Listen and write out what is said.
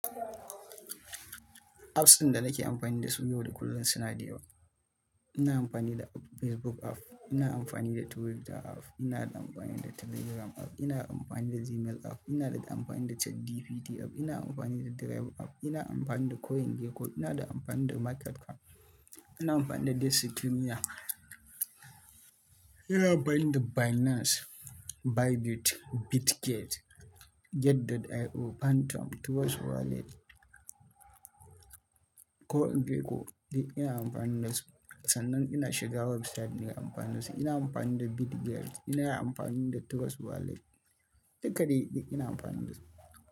Apps ɗin da nake amfani da su yau da kullum suna da yawa. Ina amfani da Facebook app, ina amfani da Twitter app, ina da amfani da Telegram app, ina amfani da Gmail app, ina da amfani da ChatGPT app, ina amfani da Drive app, ina amfani da CoinGecko, ina da amfani da Market app, ina amfani da Destiny app, ina amfani da Binance, Bybit, Bitget, Get.io, Phantom, Trust Wallet, CoinGecko. Duk ina amfani da su. Sannan ina shiga website ina amfani da su. Ina amfani da Bitget, ina amfani da Trust Wallet, duka dei ina amfani da su.